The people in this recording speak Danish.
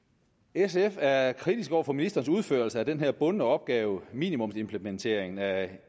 sf er kritisk over for ministerens udførelse af den her bundne opgave minimumsimplementeringen af